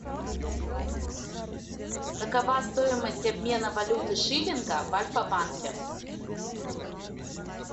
какова стоимость обмена валюты шиллинга в альфа банке